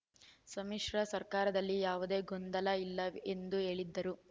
ಸಮ್ಮಿಶ್ರ ಸರ್ಕಾರದಲ್ಲಿ ಯಾವುದೇ ಗೊಂದಲ ಇಲ್ಲ ಎಂದು ಹೇಳಿದರು